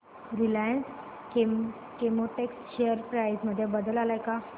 Reliance Chemotex share price मध्ये बदल आलाय का